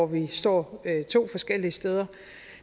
vi står to forskellige steder